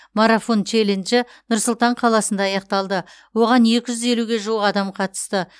марафон челленджі нұр сұлтан қаласында аяқталды оған екі жүз елуге жуық адам қатысты